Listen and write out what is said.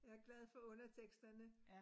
Jeg glad for underteksterne